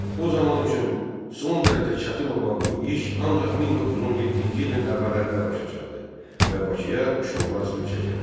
O zaman üçün son dərəcə çətin olan bu iş ancaq 1917-ci ilin əvvəllərində başa çatdı və Bakıya şollar suyu çəkildi.